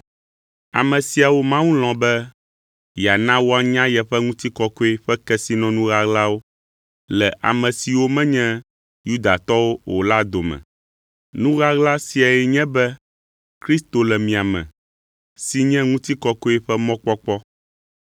Ame siawo Mawu lɔ̃ be yeana woanya yeƒe ŋutikɔkɔe ƒe kesinɔnu ɣaɣlawo le ame siwo menye Yudatɔwo dome; nu ɣaɣla siae nye be Kristo le mia me si nye ŋutikɔkɔe ƒe mɔkpɔkpɔ.